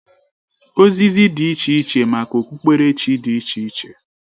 Ozizi dị iche iche maka okpukperechi dị iche iche